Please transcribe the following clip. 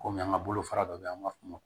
Kɔmi an ka bolofara dɔ bɛ yen an b'a f'o ma